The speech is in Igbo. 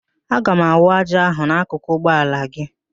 Aga m awụ ájá ahụ n'akụkụ ụgbọ ala gị